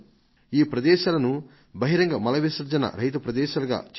ఈ ప్రదేశాలను బహిరంగ మల విసర్జన రహిత ప్రదేశాలుగా చేయగలమా